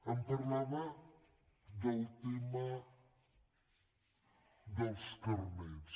em parlava del tema dels carnets